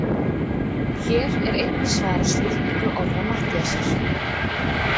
Hér er einnig svarað spurningu Orra Matthíasar: